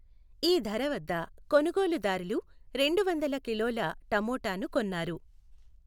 ఈ ధర వద్ద కొనుగోలుదారులు రెండువందల కిలోల టమోటాను కొన్నారు.